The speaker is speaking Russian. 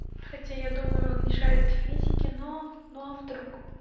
хотя я думаю он не шарит в физике но но а вдруг